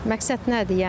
Məqsəd nədir yəni?